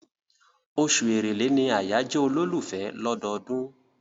Oṣù Èrèlé ni àyájọ́ olólùfẹ́ lọ́dọọdún.